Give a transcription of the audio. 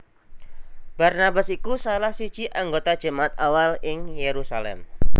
Barnabas iku salah siji anggota jemaat awal ing Yerusalem